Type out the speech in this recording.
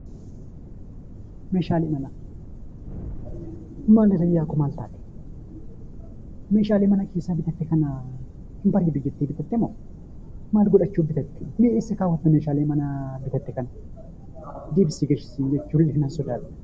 Meeshaalee manaa. Mee haadha manaa Koo, meeshaalee manaa kana ni bareeda jettee bitatte moo mee eessa ka'uudhaaf bitatte? Deebisii galchi siin jechuu nan sodaadhee.